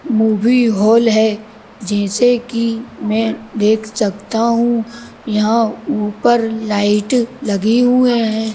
Movie hall है जैसे कि मैं देख सकता हूं यहां ऊपर लाइट लगे हुए हैं।